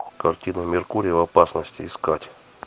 картина меркурий в опасности искать